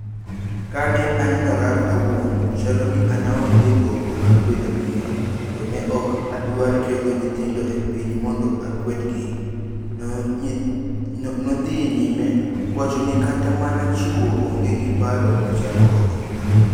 kane anonora awuon, chalo ni an aonge gombo mag bedo miyo, to ne ok adwar keol nyithindo e piny mondo akwedgi." No dhi nyime kowacho ni kata mana chuore onge gi paro machal kode.